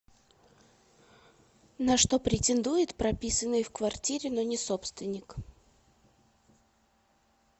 на что претендует прописанный в квартире но не собственник